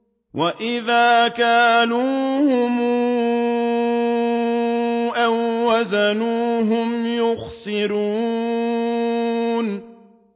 وَإِذَا كَالُوهُمْ أَو وَّزَنُوهُمْ يُخْسِرُونَ